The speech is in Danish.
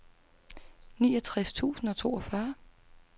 niogtres tusind og toogfyrre